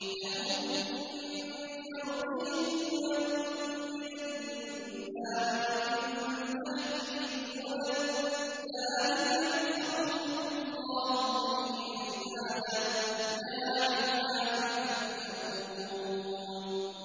لَهُم مِّن فَوْقِهِمْ ظُلَلٌ مِّنَ النَّارِ وَمِن تَحْتِهِمْ ظُلَلٌ ۚ ذَٰلِكَ يُخَوِّفُ اللَّهُ بِهِ عِبَادَهُ ۚ يَا عِبَادِ فَاتَّقُونِ